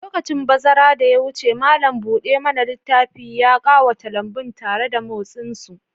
Lokacin bazara da ya wuce, malam buɗe mana littafi ya ƙawata lambun tare da motsin su.